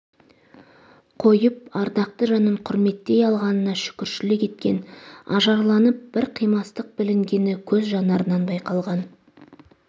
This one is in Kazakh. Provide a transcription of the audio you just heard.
қойып ардақты жанын құрметтей алғанына шүкіршілік еткен ажарланып бір қимастық білінгені көз жанарынан байқалған